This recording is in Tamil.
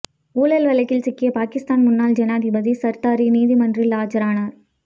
ஊழல் வழக்கில் சிக்கிய பாகிஸ்தான் முன்னாள் ஜனாதிபதி சர்தாரி நீதிமன்றில் ஆஜரானார்